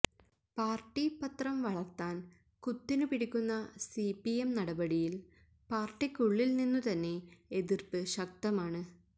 party പത്രം വളര്ത്താന് കുത്തിനു പിടിക്കുന്ന സിപിഎം നടപടിയില് പാര്ട്ടിക്കുള്ളില് നിന്നു തന്നെ എതിര്പ്പ് ശക്തമാണ്